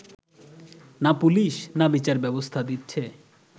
না পুলিশ, না বিচারব্যবস্থা দিচ্ছে